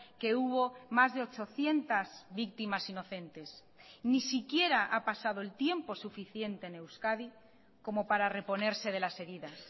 que hubo más de ochocientos víctimas inocentes ni siquiera ha pasado el tiempo suficiente en euskadi como para reponerse de las heridas